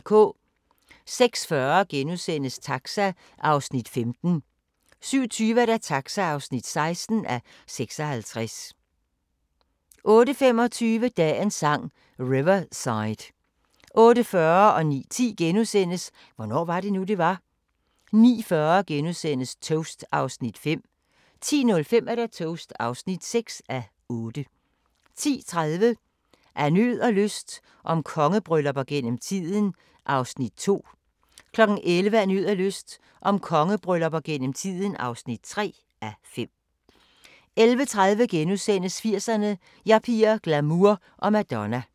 06:40: Taxa (15:56)* 07:20: Taxa (16:56) 08:25: Dagens Sang: Riverside 08:40: Hvornår var det nu, det var? * 09:10: Hvornår var det nu, det var? * 09:40: Toast (5:8)* 10:05: Toast (6:8) 10:30: Af nød og lyst – om kongebryllupper gennem tiden (2:5) 11:00: Af nød og lyst – om kongebryllupper gennem tiden (3:5) 11:30: 80'erne: Yuppier, glamour og Madonna *